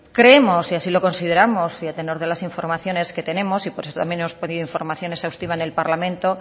creemos y así lo consideramos y a tenor de las informaciones que tenemos y por eso también hemos pedido información exhaustiva en el parlamento